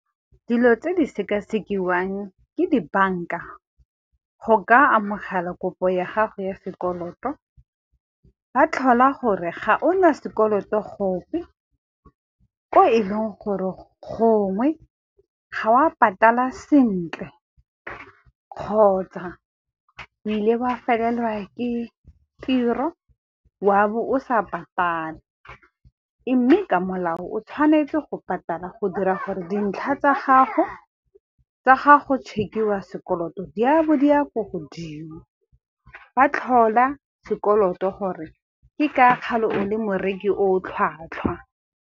Dilo tse di sekasekiwang ke di-bank-a go ka amogela kopo ya gago ya sekoloto. Ba tlhola gore ga o na sekoloto gope ko e leng gore gongwe ga o a patala sentle kgotsa o ile o a felelelwa ke tiro wa bo o sa patale, mme ka molao o tshwanetse go patala go dira gore dintlha tsa gago, tsa ga go check-iwa sekoloto, di a bo di ya ko godimo, ba tlhola sekoloto gore ke ka kgale o le moreki o o tlhwatlhwa.